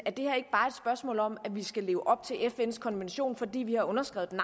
er om at vi skal leve op til fns konvention fordi vi har underskrevet den